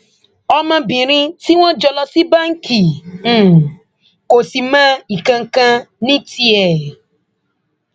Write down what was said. ọmọbìnrin tí wọn jọ lọ sí báǹkì um kò sì mọ nǹkan kan ní tiẹ um